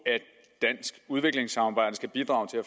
dansk udviklingssamarbejde skal bidrage til at